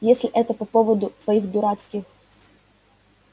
если это по поводу твоих дурацких